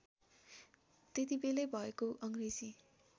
त्यतिबेलै भएको अङ्ग्रेजी